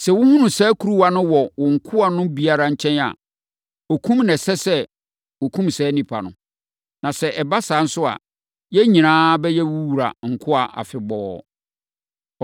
Sɛ wohunu saa kuruwa no wɔ wo nkoa no biara nkyɛn a, okum na ɛsɛ sɛ wokum saa onipa no. Na sɛ ɛba saa nso a, yɛn nyinaa bɛyɛ wo wura nkoa afebɔɔ.”